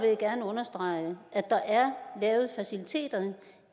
jeg gerne understrege at der er lavet faciliteter